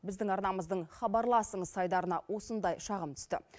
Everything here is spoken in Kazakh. біздің арнамыздың хабарласыңыз айдарына осындай шағым түсті